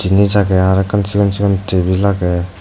jinis agey arokkan sigon sigon tebil agey.